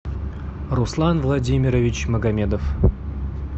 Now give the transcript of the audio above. руслан владимирович магомедов